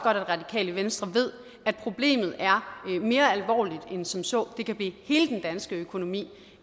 at radikale venstre ved at problemet er mere alvorligt end som så det kan blive hele den danske økonomi